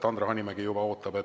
Andre Hanimägi juba ootab jälle.